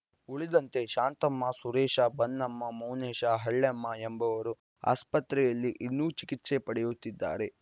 ಉಳಿದಂತೆ ಶಾಂತಮ್ಮ ಸುರೇಶ ಬನ್ನಮ್ಮ ಮೌನೇಶ ಹಳ್ಳೆಮ್ಮ ಎಂಬುವರು ಆಸ್ಪತ್ರೆಯಲ್ಲಿ ಇನ್ನೂ ಚಿಕಿತ್ಸೆ ಪಡೆಯುತ್ತಿದ್ದಾರೆ